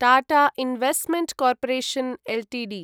Tata Investment Corporation Ltd